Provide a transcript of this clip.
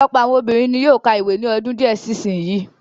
Ọ̀pọ̀lọpọ̀ àwọn obìnrin ni yóó ka ìwé ní ọdún díẹ̀ sí sin yìí.